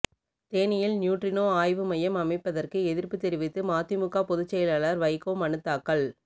தேனியில் நியூட்ரினோ ஆய்வு மையம் அமைப்பதற்கு எதிர்ப்பு தெரிவித்து மதிமுக பொதுச் செயலாளர் வைகோ மனுத்தாக்கல்